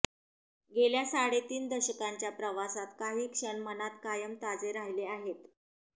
गेल्या साडेतीन दशकांच्या प्रवासात काही क्षण मनात कायम ताजे राहिले आहेत